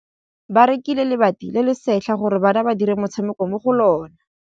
Ba rekile lebati le le setlha gore bana ba dire motshameko mo go lona.